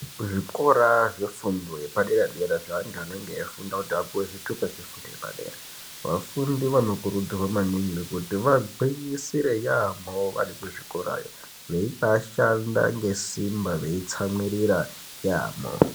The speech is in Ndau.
Kuzvikora zvefundo yepadera dera zveantu anenge eifunda kuti apiwe zvitupa zvefundo yepadera. Vafundi vanokurudzirwa maningi kuti vagwinyisire yamho vari kuzvikora yoo veibashanda ngesimba veitsamwiririra yamho .